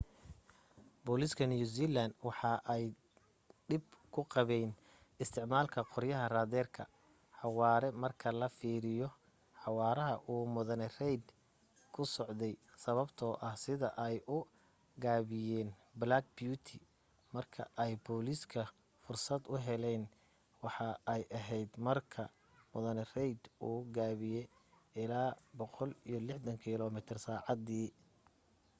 booliska new zealand waxa ay dhib ku qabeyn isticmaalka qoryaha raaderka xawaare marka la fiiriyo xawaaraha uu mudane reid ku socday sababto ah sida ay u gaabiyan black beauty marka ay booliska fursad uheleyn waxa ay aheyd marka mudane reid uu gaabiye ilaa 160km/sacadi